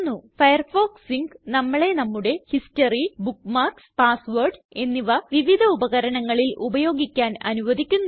Firefox sync നമ്മളെ നമ്മുടെ history bookmarks passwords എന്നിവ വിവിധ ഉപകരണങ്ങളിൽ ഉപയോഗിക്കാന് അനുവദിക്കുന്നു